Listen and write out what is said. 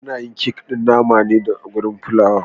Ana yin kek ɗin naman da garin fulawa